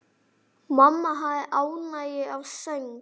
Mamma hafði ánægju af söng.